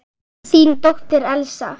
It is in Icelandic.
Þín dóttir, Elsa.